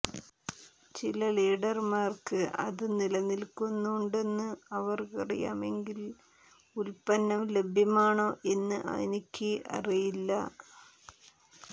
ചില ഡീലർമാർക്ക് അത് നിലനിൽക്കുന്നുണ്ടെന്ന് അവർക്കറിയാമെങ്കിൽ ഉൽപ്പന്നം ലഭ്യമാണോ എന്ന് എനിക്ക് അറിയില്ല